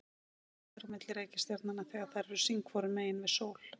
lengst er á milli reikistjarnanna þegar þær eru sín hvoru megin við sól